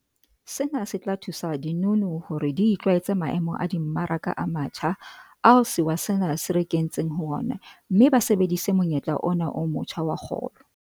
Sena se tla thusa dinono hore di itlwaetse maemo a dimmaraka a matjha ao sewa sena se re kentseng ho ona mme ba sebedise monyetla ona o motjha wa kgolo.